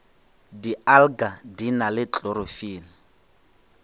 dialga di na le klorofile